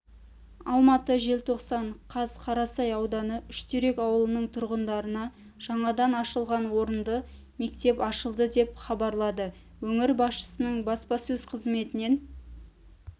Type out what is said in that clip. алматы желтоқсан қаз қарасай ауданы үштерек ауылының тұрғындарына жаңадан ашылған орынды мектеп ашылды деп хабарлады өңір басшысының баспасөз қызметінен